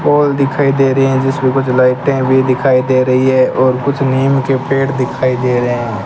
Call दिखाई दे रहे हैं जिसमें कुछ लाइटें भी दिखाई दे रही है और कुछ नीम के पेड़ दिखाई दे रहे हैं।